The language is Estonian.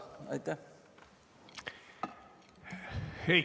Aitäh!